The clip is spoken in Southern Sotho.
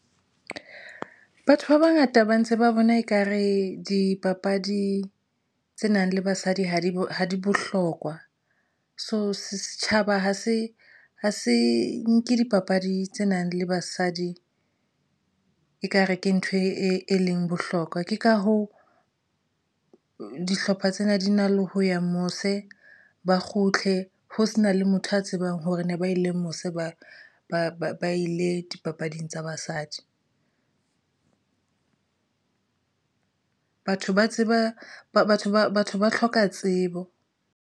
Batho ba bangata ba ntse ba bona ekare dipapadi tse nang le basadi ha di bohlokwa. So setjhaba ha se ha se nke dipapadi tse nang le basadi ekare ke ntho e leng bohlokwa. Ke ka hoo, dihlopha tsena di na le ho ya mose ba kgutle ho se na le motho a tsebang hore ne ba na ile mose ba ile dipapading tsa basadi. Batho ba tseba ba batho ba hloka tsebo.